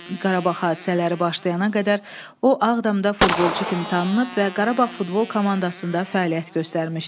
Qarabağ hadisələri başlayana qədər o Ağdamda futbolçu kimi tanınıb və Qarabağ futbol komandasında fəaliyyət göstərmişdi.